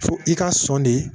Fo i ka sɔn de